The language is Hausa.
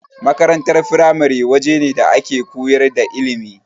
Makarantar firamare wajene da ake koyar da ilimi.